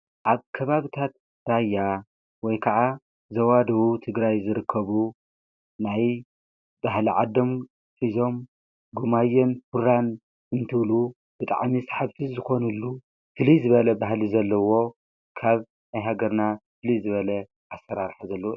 ኣ ከባብታት ዳያ ወይ ከዓ ዘዋድዉ ትግራይ ዝርከቡ ናይ ብህለ ዓዶም ፊዞም ግማዮን ፍራን እንትብሉ ብጣዕሚስ ሓፍፍ ዝኾኑሉ ፊሊ ዝበለ ባህሊ ዘለዎ ካብ ኣይሃገርና ፊልይ ዝበለ ኣሠራርሐ ዘሉ።